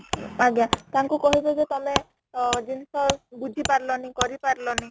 ଆଜ୍ଞା , ତାଙ୍କୁ କହିବେ ଯେ ତମେ ଅ ଜିନିଷ ବୁଝି ପାରିଲାନି କରି ପାରିଲନି